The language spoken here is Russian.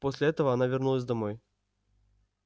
после этого она вернулась домой